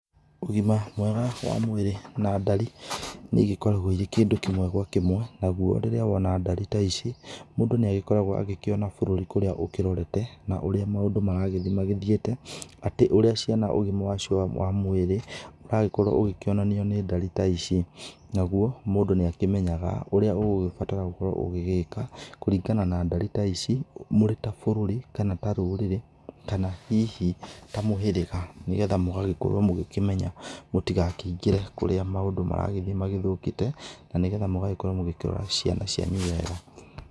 Ũgima mwega wa mwĩrĩ na ndari nĩ igĩkoragwo irĩ kĩndũ kĩmwe gwa kĩmwe nagũo rĩrĩa woa ndari ta ici mũndũ nĩ agĩkoragwo agĩkĩona bũrũri kũrĩa ũkĩrorete na ũrĩa maũndũ maragĩthiĩ magĩthĩite atĩ ũrĩa ciana ũgima wacio wa mwĩrĩ ũragĩkorwo ũkĩonanio nĩ ndari ta ici, nagũo mũndũ nĩ akĩmenyaga ũrĩa ũgũgĩbatara gũkorwo ũgĩgĩka kũringana na ndari ta ici mũrĩ ta bũrũri kana rũrĩrĩ kana hihi ta mũhĩrĩga, nĩgetha mũgagĩkorwo mũgĩkĩmenya mũtigakĩingĩre kũrĩa maũndũ maragĩthiĩ magĩthokĩte na nĩgetha mũgagĩkorwo mũkĩrora ciana cianyu wega.